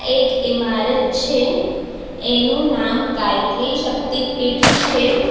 એક ઇમારત છે એનું નામ ગાયત્રી શક્તિપીઠ છે.